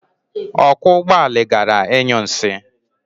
Ọkwọ ụgbọala gara ịnyụ nsị.